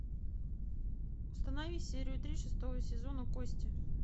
установи серию три шестого сезона кости